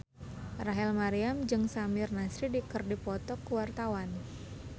Rachel Maryam jeung Samir Nasri keur dipoto ku wartawan